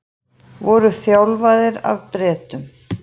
Voru þjálfaðir af Bretum